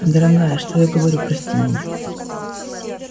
о дорогая что я говорю прости меня